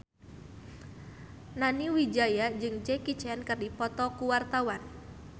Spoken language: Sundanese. Nani Wijaya jeung Jackie Chan keur dipoto ku wartawan